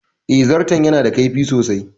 Eh, zarton ya na da kaifi sosai